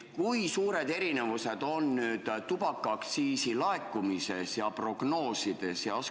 Kui suured erinevused on tubakaaktsiiside laekumises ja prognoosides?